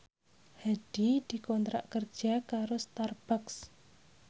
Hadi dikontrak kerja karo Starbucks